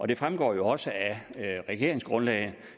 det fremgår jo også af regeringsgrundlaget